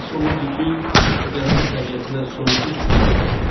Hiss olunurdu ki, o dənizin təbiətinə sonsuz inam bəsləyir.